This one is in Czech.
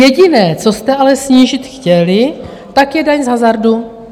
Jediné, co jste ale snížit chtěli, tak je daň z hazardu.